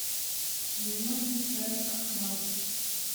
зеленый чай ахмад